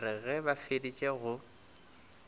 re ge ba feditše go